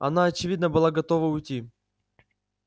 она очевидно была готова уйти